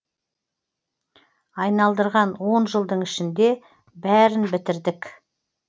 айналдырған он жылдың ішінде бәрін бітірдік